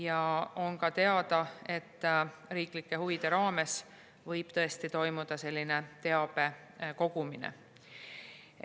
Ja on ka teada, et riiklike huvide raames võib tõesti toimuda selline teabe kogumine.